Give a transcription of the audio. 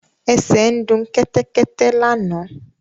Ẹsẹ ń du Kẹ́tẹ́kẹ́tẹ́ lànà.